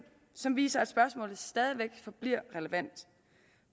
som viser at spørgsmålet stadig væk er relevant